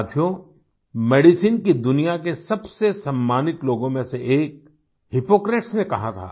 साथियों मेडिसिन की दुनिया के सबसे सम्मानित लोगों में से एक हिपोक्रेट्स ने कहा था